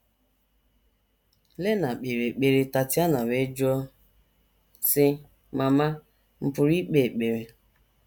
Lena kpere ekpere, Tatiana wee jụọ, sị: “ Mama, m̀ pụrụ ikpe ekpere? ”